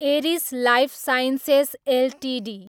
Eris Lifesciences Ltd